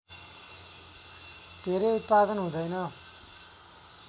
धेरै उत्पादन हुँदैन